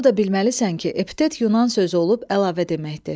Onu da bilməlisən ki, epitet Yunan sözü olub əlavə deməkdir.